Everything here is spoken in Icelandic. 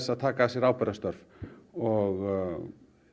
að taka að sér ábyrgðarstörf og